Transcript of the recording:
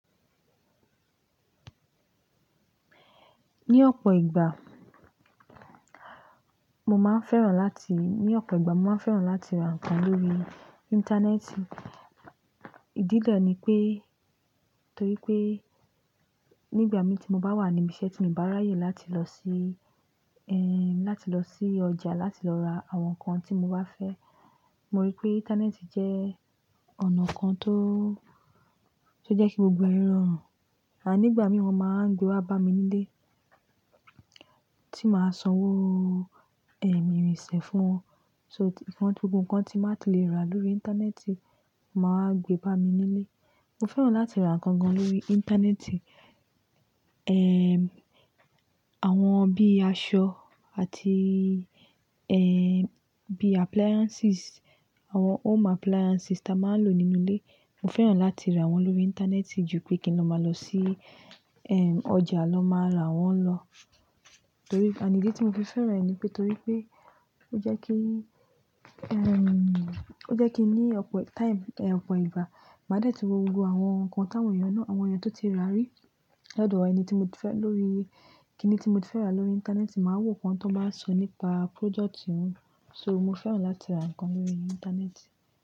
Ní ọ̀pọ̀ ìgbà, mo máa ń fẹ́ràn láti-- ní ọ̀pọ̀ ìgbà mo máa ń fẹ́ràn láti ra nǹkan lórí Íńtánẹ́ẹ̀tì. Ìdílé ni pé, torí pé nígbà mi tí mo bá wà níbi iṣẹ́ tí mo bá ráyè láti lọ sí, ẹ́m, láti lọ sí ọjà láti lọ ra àwọn nǹkan tí mo bá fẹ́. Mo rí pé Íńtánẹ́ẹ̀tì jẹ́ ọ̀nà kan tó, tó jẹ́ kí gbogbo ayé rọrùn. Ànígbà mí wọ́n máa ń gbé wá bá mi nílé, tí màá sanwó, ẹ́m, irinṣẹ́ fún wọn. So ìtàn gbogbo nǹkan tí màá ti lè rà lórí Íńtánẹ́ẹ̀tì máa gbé bá mi nílé. Mo fẹ́ràn láti ra nǹkan gan lórí Íńtánẹ́ẹ̀tì. Ẹ́m, àwọn bí aṣọ àti ẹ́m, bí appliances, àwọn home appliances tí a máa ń lò nínú ilé. Mo fẹ́ràn láti ra wọ́n lórí Íńtánẹ́ẹ̀tì ju pé kí loma lọ sí ẹ́m, ọjà lọ máa ra wọ́n lọ. Torí, ànídí tí mo fi fẹ́ràn ẹ ni pé torí pé ó jẹ́ kí, ẹ́m, ó jẹ́ kí ní ọ̀pọ̀ time, ọ̀pọ̀ ìgbà, màá dẹ́ẹ̀ tí wo gbogbo àwọn nǹkan táwọn èèyàn náà, àwọn èèyàn tó ti rà rí. Lẹ́dùú ọ eni tí mo ti fẹ́ lórí, kíni tí mo ti fẹ́ rà lórí Íńtánẹ́ẹ̀tì màá wo nǹkan tí wọ́n bá sọ nípa project yẹn. So mo fẹ́ràn láti ra nǹkan lórí Íńtánẹ́ẹ̀tì.